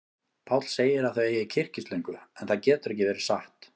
Páll segir að þau eigi kyrkislöngu, en það getur ekki verið satt.